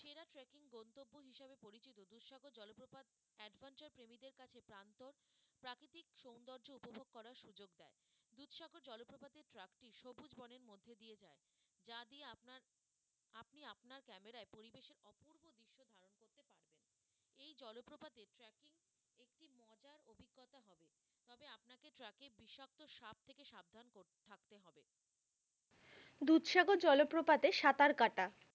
দুধসাগর জলপ্রপাতে সাঁতার কাটা,